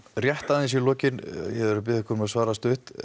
rétt aðeins í lokin ég verð að biðja ykkur um að svara stutt